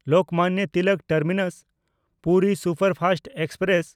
Lokmanya Tilak ᱴᱟᱨᱢᱤᱱᱟᱥ–ᱯᱩᱨᱤ superfast express